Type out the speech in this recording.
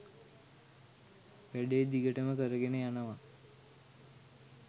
වැඩේ දිගටම කරගෙන යනවා